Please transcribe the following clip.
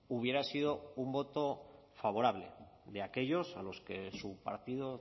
hubiera sido un voto favorable de aquellos a los que su partido